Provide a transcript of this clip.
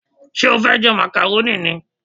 Ṣé o fẹ́ jẹ màkàrónì ni?